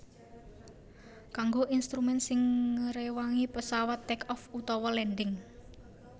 Kanggo instrumen sing ngréwangi pesawat take off utawa landing